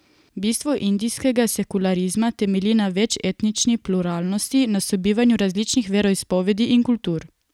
Bistvo indijskega sekularizma temelji na večetnični pluralnosti, na sobivanju različnih veroizpovedi in kultur.